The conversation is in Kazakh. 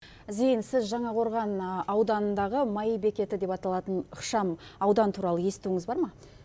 зейін сіз жаңақорған ауданындағы маи бекеті деп аталатын ықшам аудан туралы естуіңіз бар ма